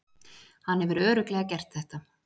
Hann hefur örugglega gert þetta.